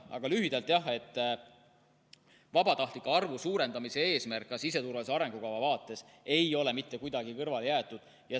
Aga lühidalt, jah, vabatahtlike arvu suurendamise eesmärki ka siseturvalisuse arengukava vaates ei ole mitte kuidagi kõrvale jäetud.